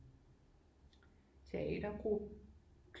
Teatergruppe